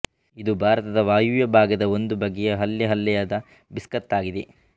ಇದು ಭಾರತದ ವಾಯವ್ಯ ಭಾಗದ ಒಂದು ಬಗೆಯ ಹಲ್ಲೆಹಲ್ಲೆಯಾದ ಬಿಸ್ಕತ್ತಾಗಿದೆ